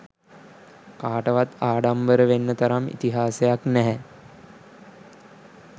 කාටවත් ආඩම්බර වෙන්න තරම් ඉතිහාසයක් නැහැ.